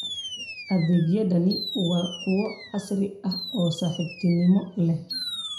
Adeegyadani waa kuwo casri ah oo saaxiibtinimo leh.